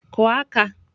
Kụọ aka!